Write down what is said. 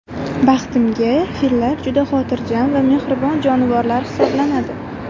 Baxtimga, fillar juda xotirjam va mehribon jonivorlar hisoblanadi.